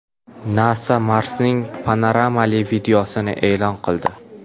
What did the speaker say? NASA Marsning panoramali videosini e’lon qildi.